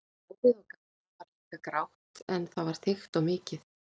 Hárið á Gamla var líka grátt en það var þykkt og mikið.